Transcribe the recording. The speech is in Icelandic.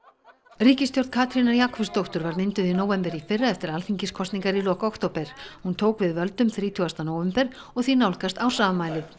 ríkisstjórn Katrínar Jakobsdóttur var mynduð í nóvember í fyrra eftir alþingiskosningar í lok október hún tók við völdum þrítugasta nóvember og því nálgast ársafmælið